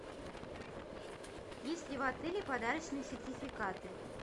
есть ли в отеле подарочные сертификаты